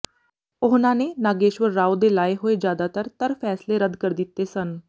ਉਹਨਾਂ ਨੇ ਨਾਗੇਸ਼ਵਰ ਰਾਓ ਦੇ ਲਾਏ ਹੋਏ ਜਿਆਦਤਰ ਤਰ ਫੈਸਲੇ ਰੱਦ ਕਰ ਦਿੱਤੇ ਸਨ